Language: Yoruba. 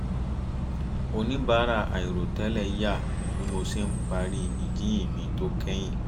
oníbàárà àìrò tẹ́lẹ̀ yà bí mo ṣe ń parí ìjíhìn mi tó kẹ́yìn